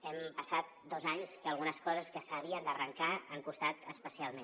hem passat dos anys que algunes coses que s’havien d’arrencar han costat especialment